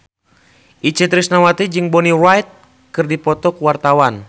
Itje Tresnawati jeung Bonnie Wright keur dipoto ku wartawan